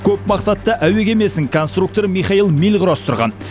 көпмақсатты әуе кемесін конструктор михаиль миль құрастырған